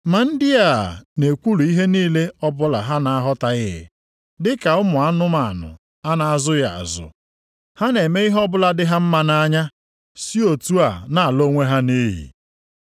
Ma ndị a na-ekwulu ihe niile ọbụla ha na-aghọtaghị. Dịka ụmụ anụmanụ a na-azụghị azụ, ha na-eme ihe ọbụla dị ha mma nʼanya si otu a na-ala onwe ha nʼiyi.